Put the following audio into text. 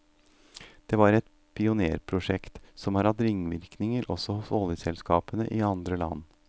Det var et pionérprosjekt, som har hatt ringvirkninger også hos oljeselskapene i andre land.